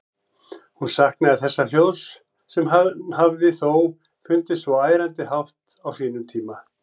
Hún saknaði þessa hljóðs, sem henni hafði þó fundist svo ærandi hátt á sínum tíma.